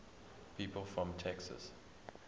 people from texas